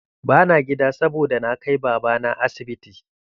Ba na gida saboda na kai babana asibiti.